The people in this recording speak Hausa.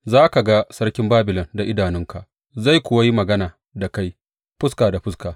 Za ka ga sarkin Babilon da idanunka, zai kuwa yi magana da kai fuska da fuska.